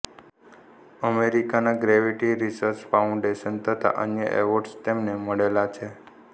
અમેરિકાના gravity research foundation તથા અન્ય એવોર્ડસ તેમને મળેલા છે